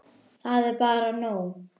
Það er bara nóg.